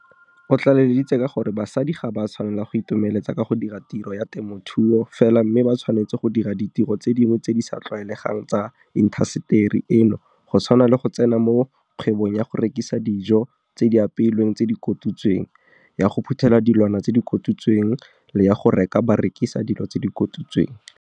O tlaleleditse ka gore basadi ga ba tshwanela go itomeletsa ka go dira tiro ya temothuo fela mme ba tshwanetse go dira ditiro tse dingwe tse di sa tlwaelegang tsa intaseteri eno go tshwana le go tsena mo kgwebong ya go rekisa dijo tse di apeilweng tse di kotutsweng, ya go phuthela dilwana tse di kotutsweng le ya go reka ba rekisa dilo tse di kotutsweng.